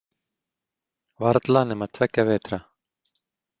Varla nema tveggja vetra.